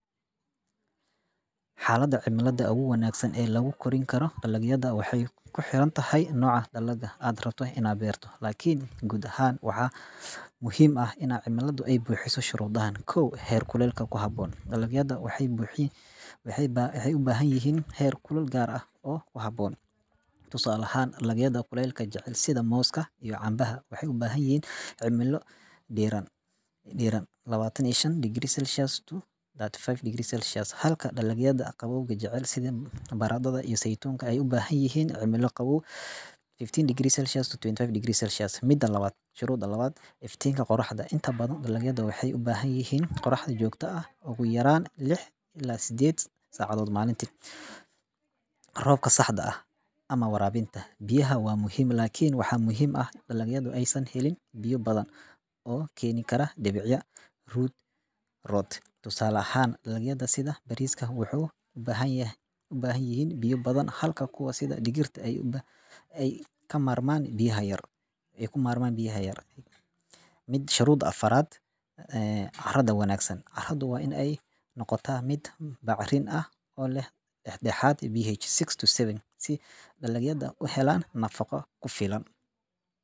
Xalada cimilada lagu korin karo waaxey u baahan yahay si loo beero dalagyada waa mid door weyn ka ciyaarta kobaca iyo tayada wax-soosaarka. Dalagyadu waxay u baahan yihiin heerkul, roob, iftiin iyo hawo nadiif ah oo ku habboon nooca la beerayo. Tusaale ahaan, dalagyada sida galleyda iyo masagada waxay u baahan yihiin cimilo kulul oo roob badan leh, halka dalagyada sida sarreenka iyo digirta ay door bidaan cimilo dhexdhexaad ah oo qabow. Intaa waxaa dheer, carrada la beerto waa inay ahaataa mid nafaqo leh oo si fiican u nuugta biyaha. Haddii cimiladu aysan ku habboonayn, dalagyadu ma koraan si wanaagsan, taasoo keeni karta hoos u dhac ku PH SIX TO SEVEN yimaada wax-soosaarka iyo tayada dalagga. Sidaas darteed, fahamka cimilada ku habboon waa muhiim si loo helo miro badan oo tayo leh iyo nafaqo kufilan .